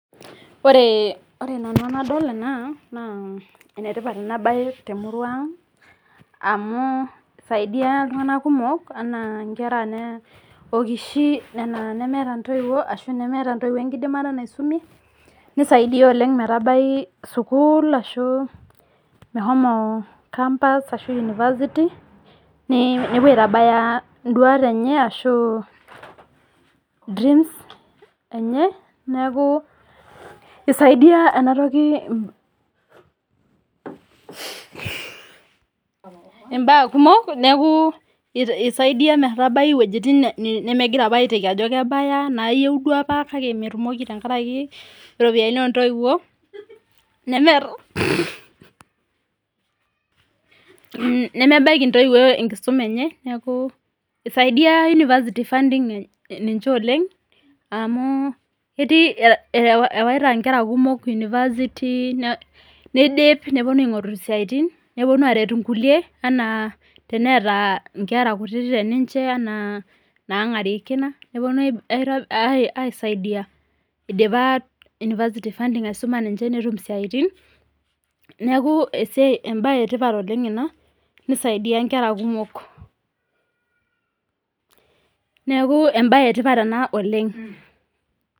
Ore nanu enadol ena, naa enetipat enabae temurua ang amu isaidia iltung'anak kumok anaa nkera okishi nena nemeeta ntoiwuo ashu nemeeta ntoiwuo enkidimata naisumie, nisaidia oleng metabai sukuul ashu meshomo campus ashu University, nepuo aitabaya iduat enye ashu dreams enye, neeku isaidia enatoki imbaa kumok, neeku isaidia metabai iwojiting nemegira apa aiteki ajo kebaya, nayieu duo apa kake metumoki tenkaraki iropiyiani ontoiwuo, nemebaiki ntoiwuo enkisuma enye, neeku isaidia University funding ninche oleng, amu ketii ewaita nkera kumok University, nidip neponu aing'oru siaitin, neponu aret inkulie enaa neeta nkera kutitik teninche anaa nang'arie kina, neponu aisaidia idipa University funding aisuma ninche netum isiaitin, neeku ebae etipat oleng ena, nisaidia nkera kumok. Neeku ebae etipat ena oleng.